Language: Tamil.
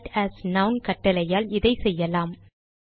cite as நான் கட்டளையால் இதை செய்யலாம்